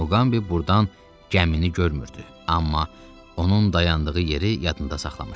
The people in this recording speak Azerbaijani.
Muqambi burdan gəmini görmürdü, amma onun dayandığı yeri yadında saxlamışdı.